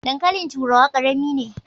Dankalin turawa karami ne.